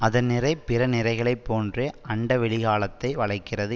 அதன் நிறை பிற நிறைகளை போன்றே அண்டவெளிகாலத்தை வளைக்கிறது